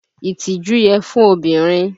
Ìtìjú yẹ fún obìnrin